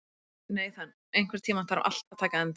Nathan, einhvern tímann þarf allt að taka enda.